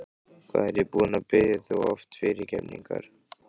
Hvað er ég búinn að biðja þig oft fyrirgefningar?